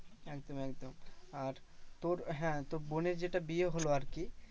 একদম একদম আর তোর হ্যাঁ তোর বোনের যেটা বিয়ে হলো আরকি